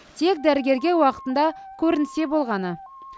тек дәрігерге уақытында көрінсе болғаны